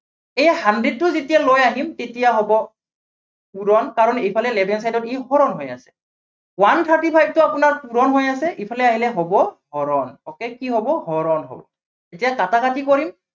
এই hundred টো যেতিয়া লৈ আহিম, তেতিয়া হব পূৰণ। কাৰণ এইফালে left hand side ত ই হৰণ হৈ আছে। one thirty five টো আপোনাৰ পূৰণ হৈ আছে, ইফালে আহিলে হব হৰণ। okay কি হব, হৰণ হব। এতিয়া কাটাকাটি কৰিম।